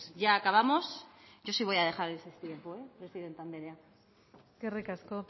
ya acabamos yo sí voy a dejar ese tiempo presidenta andrea eskerrik asko